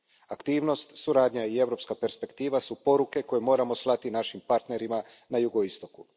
Aktivnost, suradnja i europska perspektiva su poruke koje moramo slati našim partnerima na jugoistoku.